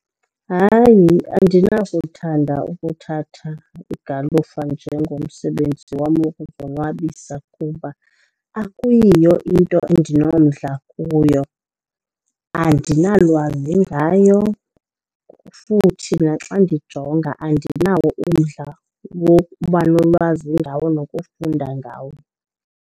Hayi, andinakuthanda ukuthatha igalufa njengomsebenzi wam wokuzonwabisa kuba akuyiyo into endinomdla kuyo. Andinalwazi ngayo futhi naxa ndijonga andinawo umdla wokuba nolwazi ngawo nokufunda ngawo.